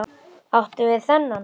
Áttu við þennan?